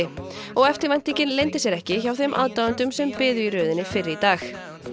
og eftirvæntingin leyndi sér ekki hjá þeim aðdáendum sem biðu í röðinni fyrr í dag